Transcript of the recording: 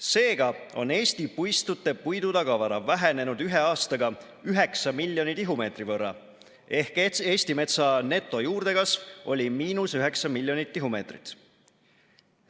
Seega on Eesti puistute puidutagavara vähenenud ühe aastaga 9 miljoni tihumeetri võrra ehk Eesti metsa netojuurdekasv oli miinus 9 miljonit tihumeetrit.